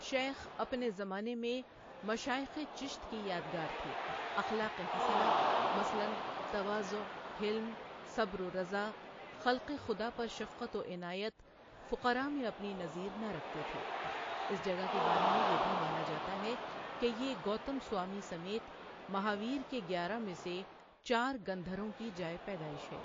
شیخ اپنے زمانے میں مشائخ چشت کی یادگار تھے اخلاق حسنہ مثلاً تواضع حلم، صبر و رضا خلق خدا پر شفقت و عنایت فقرا میں اپنی نظیر نہ رکھتے تھے اس جگہ کے بارے میں یہ بھی مانا جاتا ہے کہ یہ گوتم سوامی سمیت مہاویر کے گیارہ میں سے چار گندھروں کی جائے پیدائش ہے۔